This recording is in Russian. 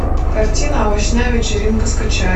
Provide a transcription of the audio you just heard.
картина овощная вечеринка скачай